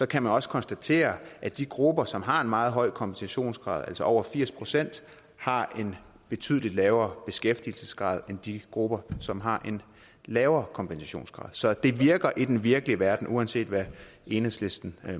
kan man også konstatere at de grupper som har en meget høj kompensationsgrad altså over firs pct har en betydelig lavere beskæftigelsesgrad end de grupper som har en lavere kompensationsgrad så det virker i den virkelige verden uanset hvad enhedslisten